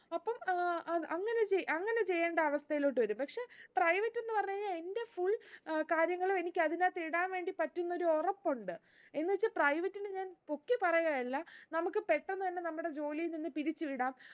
അപ്പം ഏർ ഏർ അങ്ങനെ ചെ അങ്ങനെ ചെയ്യേണ്ട അവസ്ഥയിലോട്ട് വരും പക്ഷേ private ന്ന് പറഞ്ഞ് കഴിഞ്ഞാ എന്റെ full ഏർ കാര്യങ്ങളും എനിക്ക് അതിന്റകത്തേക്ക് ഇടാൻ പറ്റുംന്നൊരു ഉറപ്പുണ്ട് എന്ന് വച്ച് private നെ ഞാൻ പൊക്കി പറയുകയല്ല നമുക്ക് പെട്ടന്ന് തന്നെ നമ്മുടെ ജോലിയിൽ നിന്ന് പിരിച്ചു വിടാം